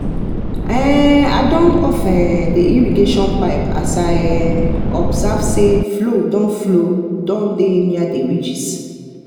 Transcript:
i um don off um the irrigation pipe as um i observe say flow don flow don dey near the ridges